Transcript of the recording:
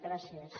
gràcies